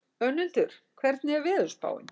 Önundur, hvernig er veðurspáin?